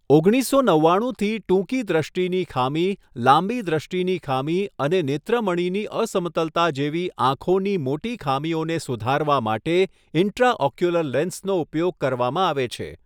ઓગણીસસો નવ્વાણુંથી ટૂંકી દૃષ્ટિની ખામી, લાંબી દૃષ્ટિની ખામી અને નેત્રમણિની અસમતલતા જેવી આંખોની મોટી ખામીઓને સુધારવા માટે ઈન્ટ્રાઓક્યુલર લેન્સનો ઉપયોગ કરવામાં આવે છે.